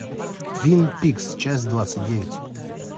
твин пикс часть двадцать девять